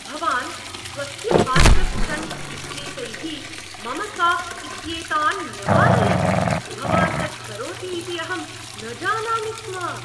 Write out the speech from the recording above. भवान् स्वस्य parkour stunts इत्येतैः मम साक्स् इत्येतान् न्यवारयत्, भवान् तत्करोति इति अहं न जानामि स्म।